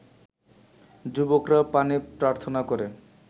যুবকরা পানি প্রার্থনা করে